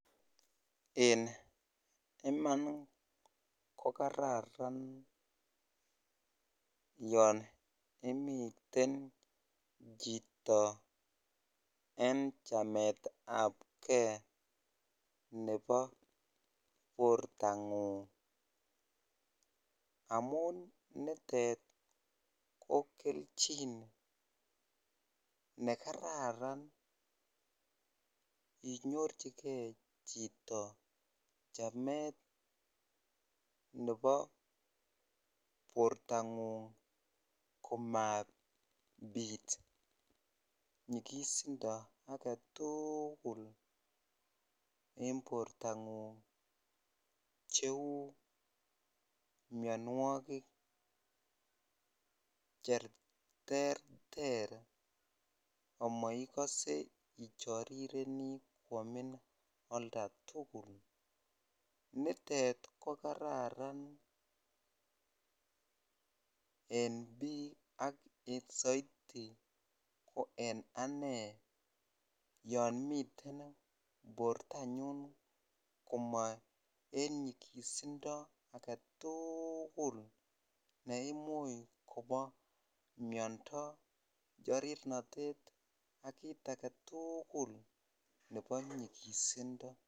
Eng Iman ko kararan yon imiten chito eng chametabken nebo bortangung, amun nitet ko kelchin nekararan inyorchiken chito chamet nebo bortangung komabit nyikisindo aketukul eng bortangung cheu mnyanwakik cheterter amaikase icharirenini kwamin olda tukul ,nitet ko kararan eng bik saiti eng ane yon miten bortanyun koma eng nyikisindo ake tukul neimuchi Kobo mnyando, charirnatet akit aketukul nebo nyikisindo.